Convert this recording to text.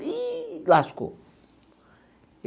Ih, lascou.